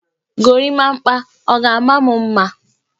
Gorimapa, ọ ga-ama m mma?